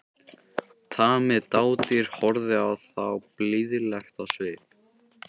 Tamið dádýr horfði á þá blíðlegt á svip.